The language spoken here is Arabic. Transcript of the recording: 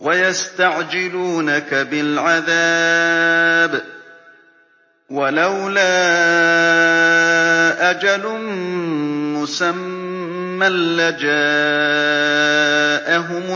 وَيَسْتَعْجِلُونَكَ بِالْعَذَابِ ۚ وَلَوْلَا أَجَلٌ مُّسَمًّى لَّجَاءَهُمُ